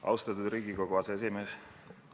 Austatud Riigikogu aseesimees!